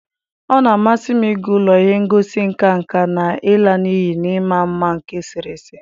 Ọ na-amasị m ịga ụlọ ihe ngosi nka nka na ịla n'iyi na ịma mma nke eserese.